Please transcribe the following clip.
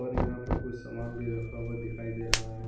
और यहां पे कुछ सामान भी रखा हुआ दिख रहा है।